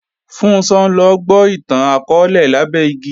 Funṣọ́ ńlọ gbó ìtàn akọọ́lẹ̀ lábẹ́ igi